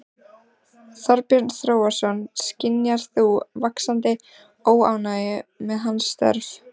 Þorbjörn Þórðarson: Skynjar þú vaxandi óánægju með hans störf?